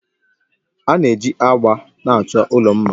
A na-eji agba na-achọ ụlọ mma